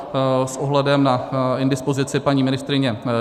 S ohledem na indispozici paní ministryně